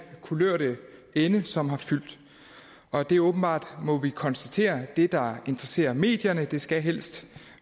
kulørte ende som har fyldt og det er åbenbart må vi konstatere det der interesserer medierne det skal helst